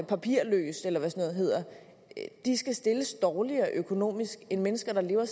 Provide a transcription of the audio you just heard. papirløst eller hvad sådan noget hedder skal stilles dårligere økonomisk end mennesker der lever